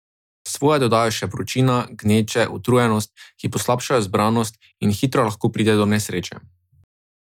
Svoje dodajo še vročina, gneče, utrujenost, ki poslabšajo zbranost, in hitro lahko pride do nesreče.